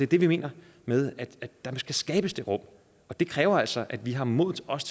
det vi mener med det der skal skabes det rum og det kræver altså at vi har modet til også